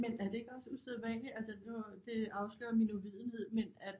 Men er det ikke også usædvanligt altså nu det afslører min uvidenhed men at